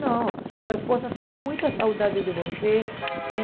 Não, sua esposa está com muita saudade de você, né?